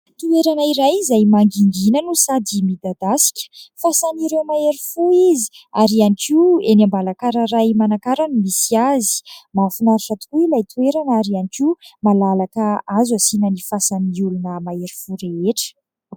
Toerana iray izay mangigina no sady midadasika. Fasan'ireo mahery fo izy ary ihany koa enỳ Ambalakararay Manakara no misy azy. Mahafinaritra tokoa ilay toerana ary ihany koa malalaka azo asiana ny fasan'ny olona mahery fo rehetra.